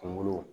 Kungolo